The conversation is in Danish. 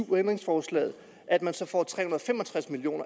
ændringsforslaget at man så får tre hundrede og fem og tres million